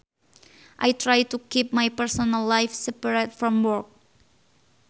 I try to keep my personal life separate from work